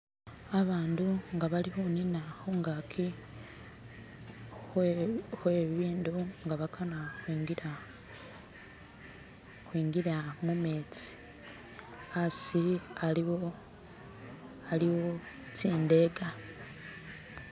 Abandu nga bali khu nina khungaki khwe bibindu nga bakana khwingila mumetsi, asi aliwo tsindeka.